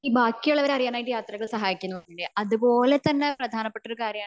ഈ ബാക്കി ഉള്ളവരെ അറിയാനായിട്ട് യാത്രകൾ സഹായിക്കുമെന്ന് തോന്നുന്നില്ലേ അത്പോലെ തന്നെ പ്രധാനപ്പെട്ട ഒരു കാര്യമാണ്